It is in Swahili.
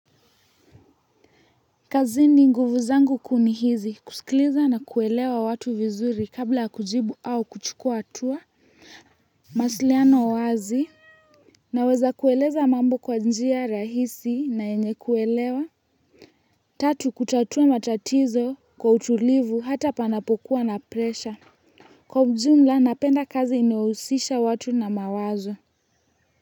Kazini nguvu zangu kuu ni hizi, kusikiliza na kuelewa watu vizuri kabla kujibu au kuchukua hatua mawasiliano wazi naweza kueleza mambo kwa njia rahisi na yenye kuelewa tatu kutatua matatizo kwa utulivu hata panapokuwa na presha kwa ujumla napenda kazi inayohusisha watu na mawazo.